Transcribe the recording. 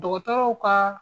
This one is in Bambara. Dɔgɔtɔrɔw ka